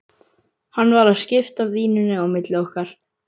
Hann var að skipta víninu á milli okkar!